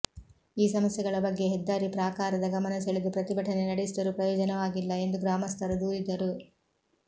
ಈ ಸಮಸ್ಯೆಗಳ ಬಗ್ಗೆ ಹೆದ್ದಾರಿ ಪ್ರಾಕಾರದ ಗಮನ ಸೆಳೆದು ಪ್ರತಿಭಟನೆ ನಡೆಸಿದರೂ ಪ್ರಯೋಜನವಾಗಿಲ್ಲ ಎಂದು ಗ್ರಾಮಸ್ಥರು ದೂರಿದರು